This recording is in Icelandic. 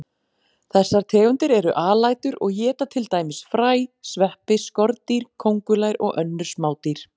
Þessar tegundir eru alætur og éta til dæmis fræ, sveppi, skordýr, kóngulær og önnur smádýr.